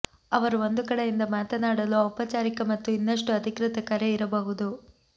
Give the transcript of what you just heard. ಅವರು ಒಂದು ಕಡೆಯಿಂದ ಮಾತನಾಡಲು ಔಪಚಾರಿಕ ಮತ್ತು ಇನ್ನಷ್ಟು ಅಧಿಕೃತ ಕರೆ ಇರಬಹುದು